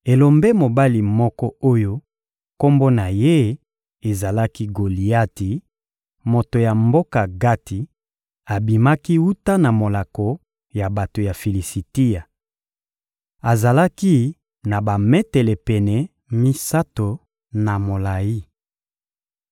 Elombe mobali moko oyo kombo na ye ezalaki «Goliati,» moto ya mboka Gati, abimaki wuta na molako ya bato ya Filisitia. Azalaki na bametele pene misato na molayi.